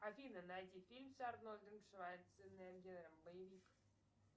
афина найди фильм с арнольдом шварценеггером боевик